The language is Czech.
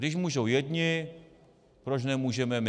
Když můžou jedni, proč nemůžeme my.